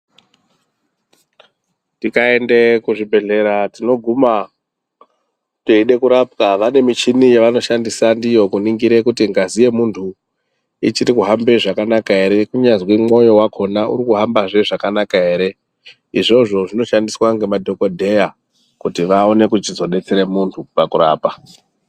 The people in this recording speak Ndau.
Tikaende kuzvibhedhlera tinoguma teide kurapwa vane michini yavanoshandisa ndiyo kuningira kuti ngazi yemuntu ichiri kuhambe zvakanaka ere kunyazwi mwoyo wakhona uri kuhambazve zvakanaka ere. Izvozvo zvinoshandiswa ngemadhokodheya kuti vaone kuchizodetsere munhu pakurapa.